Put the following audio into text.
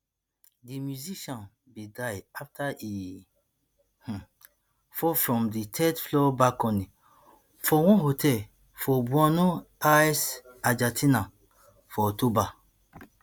di musician bin die afta e um fall from di third floor balcony for one hotel for bueno aires argentina for october